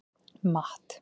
Matt